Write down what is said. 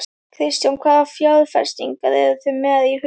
Kristján: Hvaða fjárfestingar eruð þið með í huga?